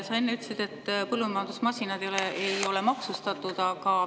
Sa enne ütlesid, et põllumajandusmasinad ei ole maksustatud.